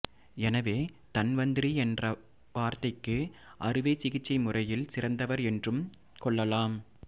எனவே தன்வந்திரி என்கிற வார்த்தைக்கு அறுவை சிகிச்சை முறையில் சிறந்தவர் என்றும் கொள்ளலாம்